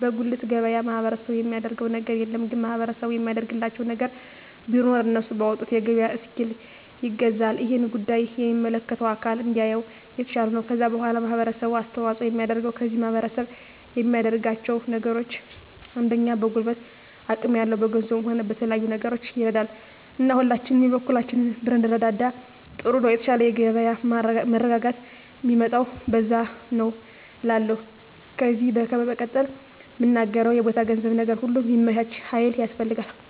በጉልት ገበያ ማህበረሰቡ የሚያደረገው ነገር የለም ግን ማህበረሰቡ የሚያደርግላቸው ነገር ቢኖር እነሱ ባወጡት የገበያ እስኪል ይገዛል እሄን ጉዳይ የሚመለከተው አካል እንዲያየው የተሻለ ነው ከዛ በዋላ ማህበረሰቡ አስተዋጽኦ የሚያደርገው ከዚህ ማህረሰብ የሚያደርጋቸው ነገሮች አንደኛ በጉልበት አቅም ያለው በገንዘቡም ሆነ በተለያዩ ነገሮች ይረዳል እና ሁላችንም የበኩላችንን ብንረዳዳ ጥሩ ነው የተሻለ የገበያ መረጋጋት ሚመጣው በዛ ነዉ እላለሁ ከዜ በመቀጠል ምናገረው የቦታ የገንዘብ ነገር ሁሉ ሚመቻች ሀይል ያስፈልጋል